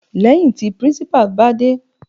Lẹ́hìn tí principal bá dé.